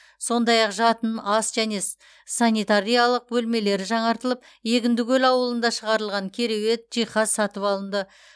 сондай ақ жатын ас және с санитариялық бөлмелері жаңартылып егіндікөл ауылында шығарылған кереует жиһаз сатып алынды